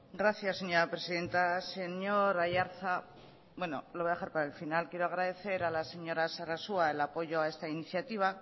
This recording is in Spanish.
gracias señora presidenta señor aiartza bueno lo voy a dejar para el final quiero agradecer a la señora sarasua el apoyo a esta iniciativa